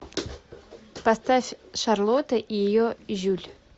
поставь шарлотта и ее жюль